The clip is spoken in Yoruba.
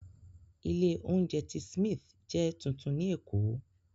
Ilé-oúnjẹ The Smith jẹ́ tuntun ní Èkó.